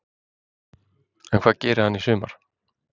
En hvað gerir hann í sumar?